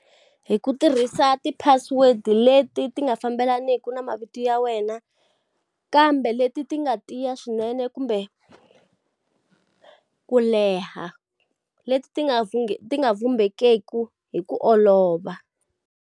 Hi ku tirhisa ti-password-i leti ti nga fambelaniku na mavito ya wena, kambe leti ti nga tiya swinene kumbe ku leha. Leti ti nga ti nga vhumbekeki hi ku olova.